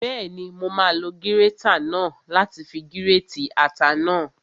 Bẹ́ẹ̀ni, mo máa lo gírétà náà láti fi gírètì ata náà